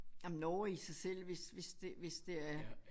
Jamen Norge i sig selv hvis hvis det hvis det